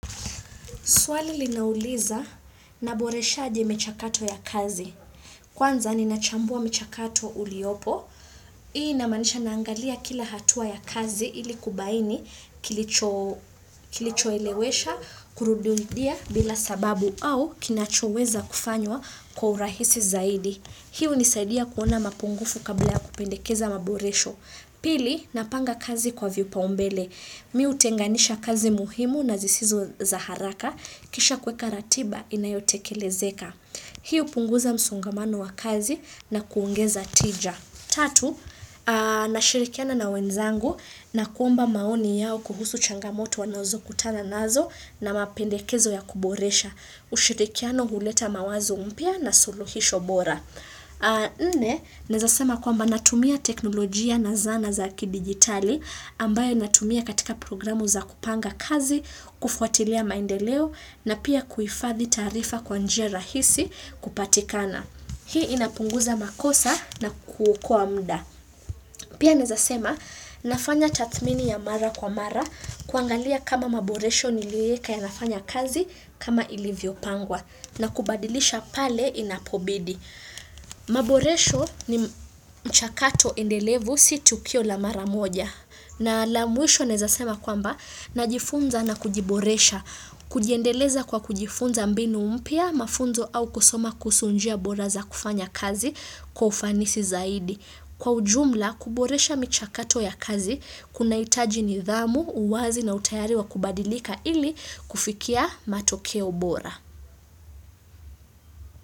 Swali linauliza, naboresha aje michakato ya kazi. Kwanza ninachambua mchakato uliopo. Hii inamanisha naangalia kila hatua ya kazi ili kubaini kilicho kilichoelewesha kurududia bila sababu au kinachoweza kufanywa kwa urahisi zaidi. Hii hunisaidia kuona mapungufu kabla kupendekeza maboresho. Pili, napanga kazi kwa vipaumbele. Mi hutenganisha kazi muhimu na zisizo za haraka kisha kuweka ratiba inayotekelezeka. Hii hupunguza msongamano wa kazi na kuongeza tija. Tatu, nashirikiana na wenzangu na kuomba maoni yao kuhusu changamoto wanazokutana nazo na mapendekezo ya kuboresha. Ushirikiano huleta mawazo mpya na suluhisho bora. Nne, naeza sema kwamba natumia teknolojia na zana za ki digitali ambayo natumia katika programu za kupanga kazi, kufuatilia maendeleo na pia kuifadhi taarifa kwa njia rahisi kupatikana. Hii inapunguza makosa na ku kuokoa mda. Pia naeza sema nafanya tathmini ya mara kwa mara kuangalia kama maboresho nilieka yanafanya kazi kama ilivyopangwa na kubadilisha pale inapobidi. Maboresho ni mchakato endelevu si tukio la mara moja na la mwisho naeza sema kwamba najifunza na kujiboresha kujiendeleza kwa kujifunza mbinu mpiya mafunzo au kusoma kuhusu njia bora za kufanya kazi kwa ufanisi zaidi Kwa ujumla kuboresha michakato ya kazi kunahitaji nidhamu uwazi na utayari wa kubadilika ili kufikia matokeo bora.